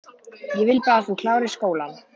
Ég vil bara að þú klárir skólann